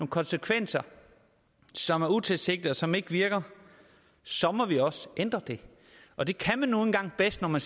konsekvenser som er utilsigtede som ikke virker så må vi selvfølgelig også ændre det og det kan man nu engang bedst når man